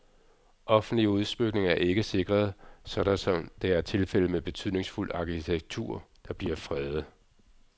Offentlige udsmykninger er ikke sikret, sådan som det er tilfældet med betydningsfuld arkitektur, der bliver fredet.